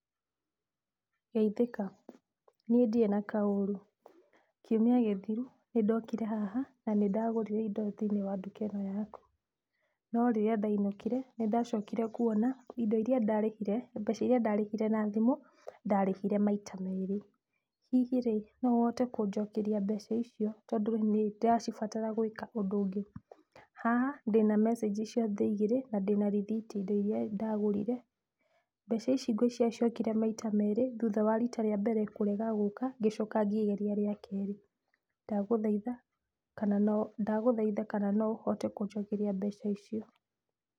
Geithĩka. Niĩ ndirĩ na kaũru. Kiumia gĩthiru nĩndokire haha na nĩndagũrire indo thĩiniĩ wa nduka ĩno yaku, no rĩrĩa ndainũkire nĩ ndacokire kuona indo irĩa ndarĩhire mbeca irĩa ndarĩhire na thimũ ndarĩhire maita merĩ. Hihi rĩĩ no ũhote kũnjokeria mbeca icio tondũ nĩ ndĩracibatara gwĩka ũndũ ũngĩ? Haha ndĩna message cia thaa igĩrĩ na ndĩna rĩthiti indo irĩa ndagũrire. Mbeca ici ngwĩciria ciokire maita merĩ thutha wa rita rĩa mbere kũrega gũka ngĩcoka ngĩgeria rĩa kerĩ. Ndagũthaitha kana no ndagũthaitha kana no ũhote kũnjokeria mbeca icio.